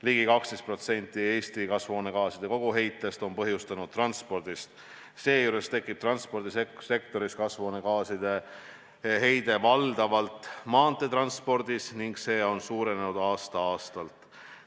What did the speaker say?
Ligi 12% Eesti kasvuhoonegaaside heitest on põhjustanud transport, seejuures tekib transpordisektoris kasvuhoonegaaside heide valdavalt maanteetranspordis ning see on aasta-aastalt suurenenud.